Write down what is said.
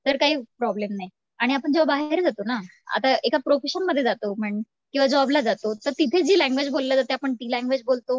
तर काही प्रॉब्लेम नाही. आणि जेंव्हा आपण बाहेर जातो ना, आता एका प्रोफेशन मध्ये जातो म्हण किंवा जॉब ला जातो तर तिथे जी लँग्वेज बोलली जाते आपण ती लँग्वेज बोलतो.